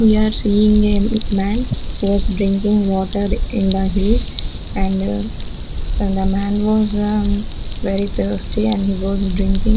We are seeing a man was drinking water in the hill and a the man was a very thirsty and he was drinking--